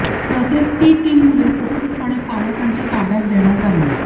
तसेच ती तीन मुले सुखरूपपणे पालकांच्या ताब्यात देण्यात आली